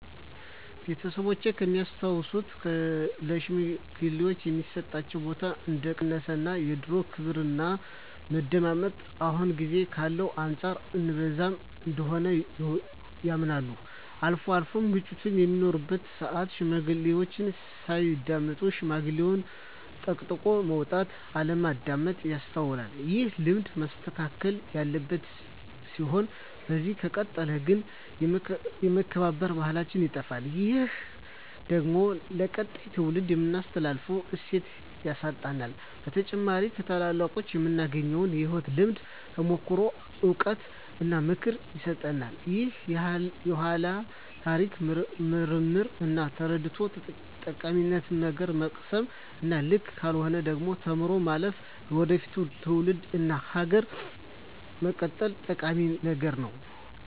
ቤተሰቦቼ ከሚያስታውሱት ለሽማግሌወች የሚሰጣቸው ቦታ እንደቀነሰ እና የድሮው ክብርና መደመጣቸው አሁን ጊዜ ካለው አንፃር እንብዛም እንደሆነ ያምናሉ። አልፎ አልፎም ግጭቶች በሚኖሩበት ስአት ሽማግሌዎችን ሳያዳምጡ ሽምግልናን ጠቅጥቆ መውጣት እና አለማዳመጥ ይስተዋላል። ይህ ልማድ መስተካከል ያለበት ሲሆን በዚህ ከቀጠለ ግን የመከባበር ባህላችን ይጠፋል። ይህ ደግሞ ለቀጣይ ትውልድ የምናስተላልፈውን እሴት ያሳጣናል። በተጨማሪም ከታላላቆቹ የምናገኘውን የህይወት ልምድ፣ ተሞክሮ፣ እውቀት እና ምክር ያሳጣናል። የኃላን ታሪክ መርምሮ እና ተረድቶ ጠቃሚውን ነገር መቅሰም እና ልክ ካልሆነው ነገር ተምሮ ማለፍ ለወደፊት ትውልድ እና ሀገር መቀጠል ጠቂሚ ነገር ነው።